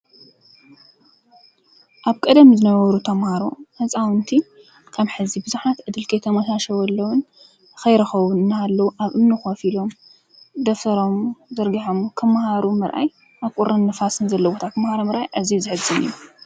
ኣብ ቀደም ዝነበሩ ተማሃሮ ህፃዊንቲ ከም ሒዚ ቡዛሓት ዕድል ከይተመቻቸወሎምን ከይረከቡ እንዳሃለዉ ኣብ እሚኒ ኮፈ ኢሎሞ ደፍተሮሞ ዘርጊሖም ክማሃሩ ምራኣይ ኣብ ቁርን ንፋስን ዘለዎ ቦታ ክማሃሩ ምራኣይ ኣዚዩ ዘሐዝን እዩ::